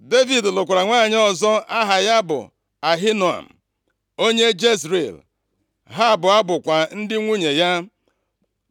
Devid lụkwara nwanyị ọzọ aha ya bụ Ahinoam, + 25:43 Ahinoam bụ nwunye mbụ Devid, onye mụtara ya ọkpara mbụ ya, a na-akpọ Amnọn. \+xt 1Sa 27:3; 2Sa 3:2\+xt* onye Jezril. Ha abụọ bụkwa ndị nwunye ya.